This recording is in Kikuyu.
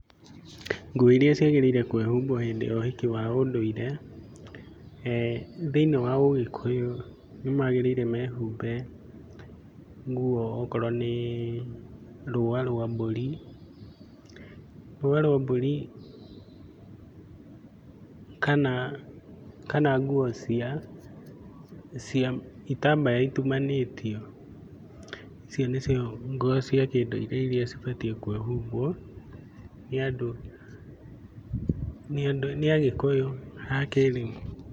Nguo irĩa ciagĩrĩire kwĩhumbwo hĩndĩ ya ũhiki wa kĩndũire, eeh thĩiniĩ wa ũgĩkũyũ, nĩmagĩrĩire mehumbe nguo okorwo nĩ rũũa rwa mbũri, rũũa rwa mbũri kana, kana nguo cia, cia itambaya itumanĩtio. Icio nĩcio nguo cia kĩndũire irĩa cibatie kwĩhumbwo nĩ andũ nĩ andu, nĩ agĩkũyũ a kĩrĩu.